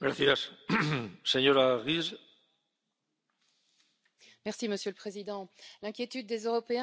Monsieur le Président, l'inquiétude des Européens ne cesse de s'amplifier au fil des crises, au fil des renoncements.